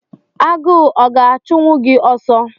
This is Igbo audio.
Agụ ọ ga-achụnwu gị oso